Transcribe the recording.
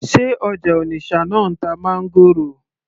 sé ọjà Onitsha náà ń ta máńgòrò